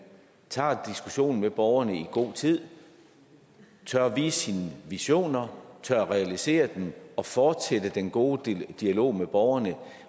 tager diskussionen med borgerne i god tid tør vise sine visioner tør realisere dem og fortsætte den gode dialog med borgerne